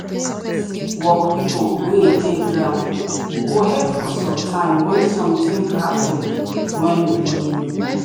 work people weh e dey ground go help for some time wen something happened wen we no no